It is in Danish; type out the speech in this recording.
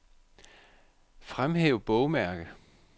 Fremhæv bogmærke.